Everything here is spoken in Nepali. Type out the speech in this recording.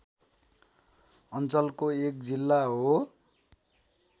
अञ्चलको एक जिल्ला हो